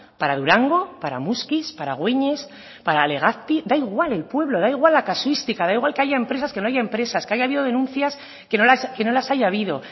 para durango para muskiz para güeñes para legazpi da igual el pueblo da igual la casuística da igual que haya empresas que no haya empresas que haya habido denuncias que no las haya habido